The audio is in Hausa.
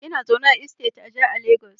Ina zaune a Estate Aja a lagos